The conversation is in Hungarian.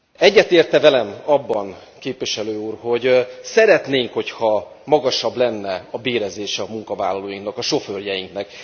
Egyetért e velem abban a Képviselő úr, hogy szeretnénk, hogyha magasabb lenne a bérezése a munkavállalóinknak, a sofőrjeinknek?